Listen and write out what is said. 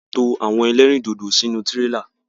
A máa to àwọn ẹlẹ́rìndòdò sínú tírélà.